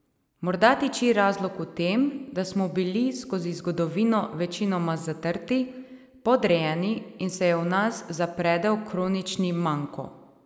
Morda tiči razlog v tem, da smo bili skozi zgodovino večinoma zatrti, podrejeni, in se je v nas zapredel kronični manko.